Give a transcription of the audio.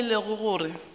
moo e lego gore go